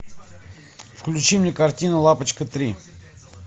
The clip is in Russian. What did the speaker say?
включи мне картину лапочка три